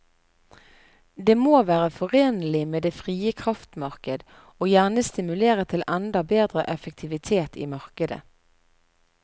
Det må være forenlig med det frie kraftmarked og gjerne stimulere til enda bedre effektivitet i markedet.